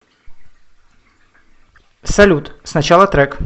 салют сначала трек